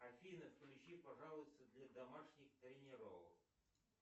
афина включи пожалуйста для домашних тренировок